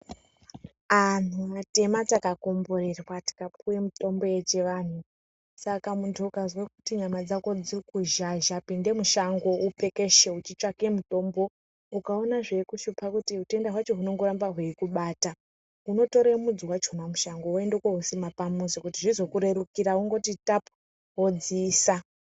Anthu atema takakomborerwa takapiwa mitombo yechivanthu. Saka munthu ukazwa kuti nyama dzako dziri kuzhazha pinda mushango upekeshe wechitsvaka mutombo. Ukaona zveikushupa kuti utenda hwacho hunongoramba hweikubata unotore mudzi wachona mushango woenda koousima pamuzi kuti zvizokuterukira, unongoti tapu wodziisa.